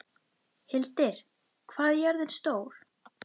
Hildir, hvað er jörðin stór?